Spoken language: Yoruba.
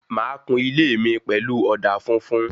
Máa kún ilé mí pẹlú òdà funfun